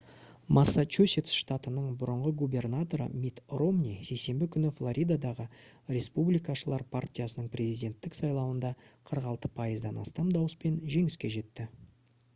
массачусетс штатының бұрынғы губернаторы митт ромни сейсенбі күні флоридадағы республикашылар партиясының президенттік сайлауында 46 пайыздан астам дауыспен жеңіске жетті